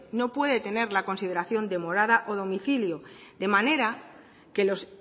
no puede tener la consideración de morada o domicilio de manera que los